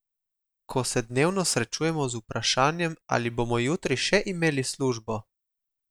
Ko se dnevno srečujemo z vprašanjem, ali bomo jutri še imeli službo?